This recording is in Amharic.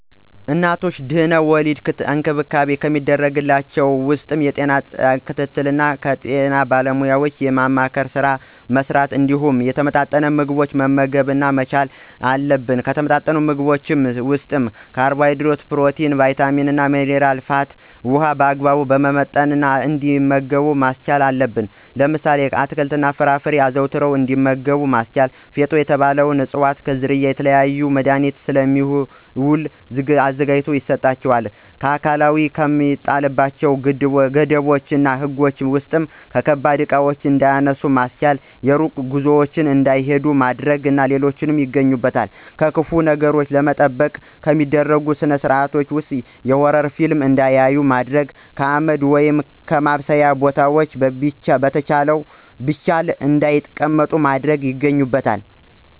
ለእናቶች ድህና-ወሊድ እንክብካቤ ከሚደረግላቸው ውስጥ የጤና ጣቢያ ክትትል እና የጤና ባለሙያዎችን የማማከር ስራ መሥራት እንዲሁም የተመጣጠኑ ምግቦችን መመገብ መቻል አለብን። ከተመጣጠኑ የምግብ አይነቶች ውስጥ ካርቦሀይድሬት፣ ፕሮቲን፣ ቭይታሚን፣ ሜነራ፣ ፋት እና ውሀን በአግባቡ በመመጠን እንዲመገቡ ማስቻል አለብን። ለምሳሌ፦ አትክልት እና ፍራፍሬዎችን አዘውትረው እንዲመገቡ ማስቻል። ፊጦ የተባለ እፅዋት ዝርያ ለተለያዩ መድሀኒቶች ስለሚውል ተዘጋጅቶ ይሰጣቸዋል። ስለአካላዊ ከሚጣልባቸው ገደቦች እና ህጎች ውስጥ ከባባድ እቃዎችን እንዳያነሱ ማስቻል፣ የርቀት ጉዞዎችን እንዳይሂዱ ማድረግ እና ሌሎች ይገኙበታል። ከክፉ ነገሮች ለመጠበቅ ከሚደረጉ ስርአቶች ውስጥ የሆረር ፊልም እንዳያዩ ማድረግ፣ ከአመድ ወይም ከማብሰያ ቦታዎች ብቻቸውን እንዳይቀመጡ ማድረግ ይገኙበታል።